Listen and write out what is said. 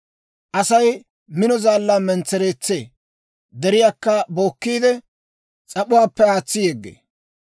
«Asay mino zaallaa mentsereetsee; deriyaakka bookkiide, s'ap'uwaappe aatsi yeggee.